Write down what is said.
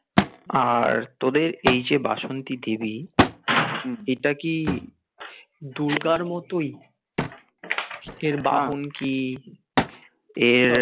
আর তোদের এই যে বাসন্তী দেবী এটা কি দুর্গার মতোই এর বাহন কি এর